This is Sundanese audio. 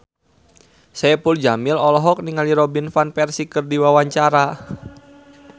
Saipul Jamil olohok ningali Robin Van Persie keur diwawancara